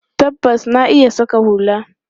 Tabbas, na iya saƙa hula.